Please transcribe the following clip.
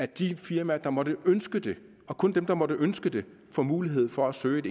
de firmaer der måtte ønske det og kun dem der måtte ønske det får mulighed for at søge